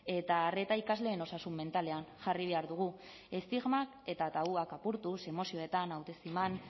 eta arreta ikasleen osasun mentalean jarri behar dugu estigmak eta tabuak apurtuz emozioetan autoestiman